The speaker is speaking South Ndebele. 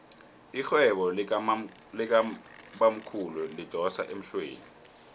irhwebo likabamkhulu lidosa emhlweni